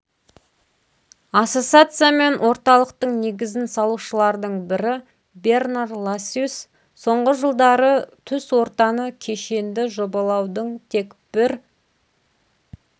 ассоциация мен орталықтың негізін салушылардың бірі бернар лассюс соңғы жылдары түс ортаны кешенді жобалаудың тек бір